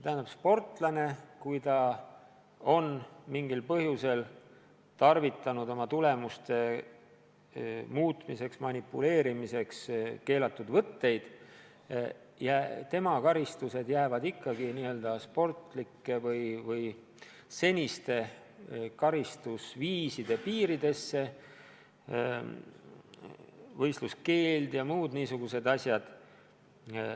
Kui sportlane on mingil põhjusel oma tulemuste muutmiseks, manipuleerimiseks kasutanud keelatud võtteid, siis tema karistused jäävad ikkagi seniste n-ö sportlike karistusviiside piiridesse – võistluskeeld ja muud niisugused asjad.